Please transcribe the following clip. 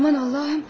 Aman Allahım!